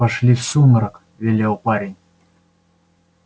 пошли в сумрак велел парень